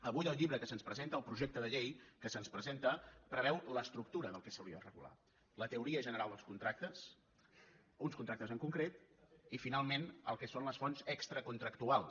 avui el llibre que se’ns presenta el projecte de llei que se’ns presenta preveu l’estructura del que s’hauria de regular la teoria general dels contractes uns contractes en concret i finalment el que són les fonts extracontractuals